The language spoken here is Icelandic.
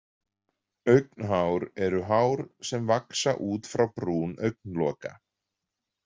Augnhár eru hár sem vaxa út frá brún augnloka.